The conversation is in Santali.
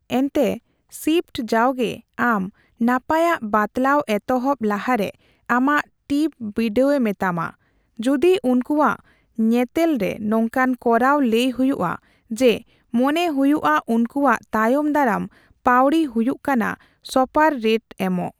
ᱮᱱᱛᱮ, ᱥᱤᱯᱴ ᱡᱟᱣᱜᱮ ᱟᱢ ᱱᱟᱯᱟᱭᱟᱜ ᱵᱟᱛᱞᱟᱣ ᱮᱛᱦᱚᱵᱽ ᱞᱟᱦᱟᱨᱮ ᱟᱢᱟᱜ ᱴᱤᱯ ᱵᱤᱰᱟᱹᱣᱮ ᱢᱮᱛᱟᱢᱟ, ᱡᱩᱫᱤ ᱩᱱᱠᱩᱣᱟᱜ ᱧᱮᱛᱮᱞ ᱨᱮ ᱱᱚᱝᱠᱟᱱ ᱠᱚᱨᱟᱣ ᱞᱟᱹᱭ ᱦᱩᱭᱩᱜᱼᱟ ᱡᱮ ᱢᱚᱱᱮ ᱦᱩᱭᱩᱜᱼᱟ ᱩᱱᱠᱩᱣᱟᱜ ᱛᱟᱭᱚᱢᱫᱟᱨᱟᱢ ᱯᱟᱹᱣᱲᱤ ᱦᱩᱭᱩᱜ ᱠᱟᱱᱟ ᱥᱚᱯᱟᱨᱚ ᱨᱮᱴ ᱮᱢᱚᱜ ᱾